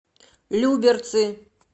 люберцы